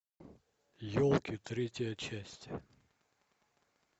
елки третья часть